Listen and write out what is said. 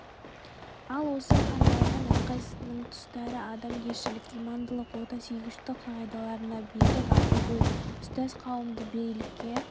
ал осы хандардың әрқайсысының тұстасы адамгершілік имандылық отансүйгіштік қағидаларына берік ақылгөй ұстаз қауымды бірлікке